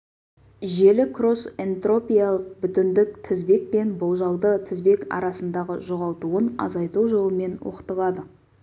желі кросс-энтропиялық бүтіндік тізбек пен болжалды тізбек арасындағы жоғалтуын азайту жолымен оқытылады